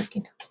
argina